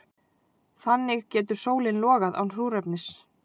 Þannig getur sólin logað án súrefnis.